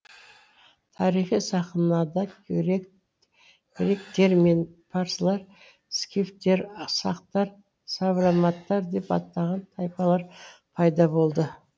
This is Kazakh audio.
тарихи сахнада гректер мен парсылар скифтер сақтар савроматтар деп атаған тайпалар пайда болды